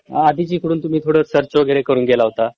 आधीच इकडून तुम्ही थोडं सर्च वगैरे करून गेला होता